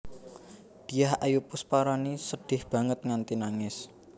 Dyah Ayu Pusparani sedih banget nganti nangis